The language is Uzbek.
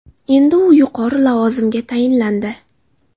Endi u yuqori lavozimga tayinlandi.